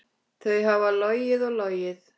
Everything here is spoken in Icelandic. Þau hafa logið og logið.